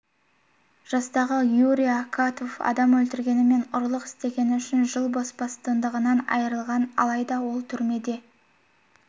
жастағы юрий акатов адам өлтіргені мен ұрлық істегені үшін жыл бас бостандығынан айырылған алайда ол түрмеде